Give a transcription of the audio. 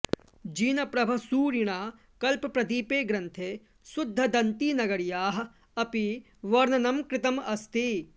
जिनप्रभसूरिणा कल्पप्रदीपे ग्रन्थे शुद्धदन्तीनगर्याः अपि वर्णनं कृतम् अस्ति